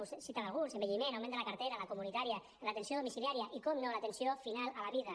vostè en citava alguns envelliment augment de la cartera la comunitària l’atenció domiciliària i naturalment l’atenció final a la vida